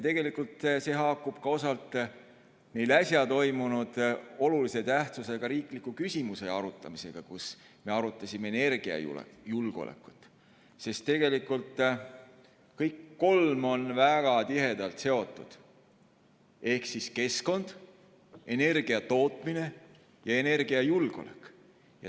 Tegelikult haakub see osalt meil äsja toimunud olulise tähtsusega riikliku küsimuse arutamisega, kui me arutasime energiajulgeolekut, sest kõik kolm on väga tihedalt seotud: keskkond, energiatootmine ja energiajulgeolek.